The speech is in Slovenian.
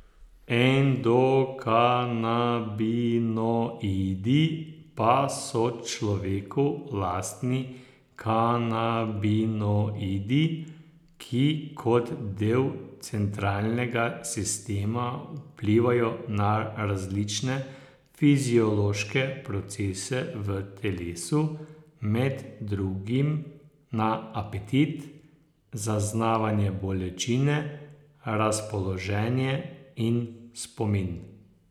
Endokanabinoidi pa so človeku lastni kanabinoidi, ki kot del centralnega sistema vplivajo na različne fiziološke procese v telesu, med drugim na apetit, zaznavanje bolečine, razpoloženje in spomin.